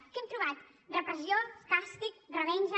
què hem trobat repressió càstig revenja